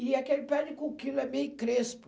E aquele pé de coquilo é meio crespo.